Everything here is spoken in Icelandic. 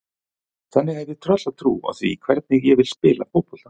Þannig að ég hef tröllatrú á því hvernig ég vil spila fótbolta.